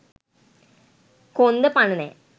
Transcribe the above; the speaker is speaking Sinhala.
කොන්ද පණ නෑ